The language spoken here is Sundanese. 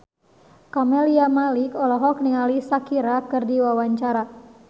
Camelia Malik olohok ningali Shakira keur diwawancara